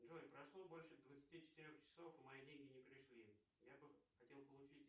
джой прошло больше двадцати четырех часов мои деньги не пришли я бы хотел получить